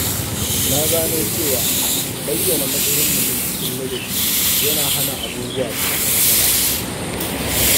Na gano cewa bayyana matsayin mutum cikin ladabi yana hana abubuwa su zama matsala.